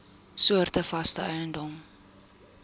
soorte vaste eiendom